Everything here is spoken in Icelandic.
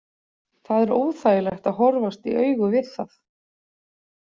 Það er óþægilegt að horfast í augu við það.